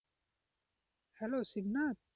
Hello Shibnath,